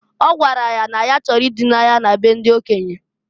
O gwara ya na ya chọrọ i duna ya na be ndị okenye.